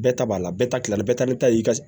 Bɛɛ ta b'a la bɛɛ ta kila bɛɛ ta bɛ taa i ka